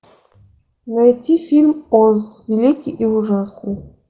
найти фильм оз великий и ужасный